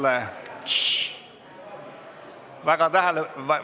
Tšš!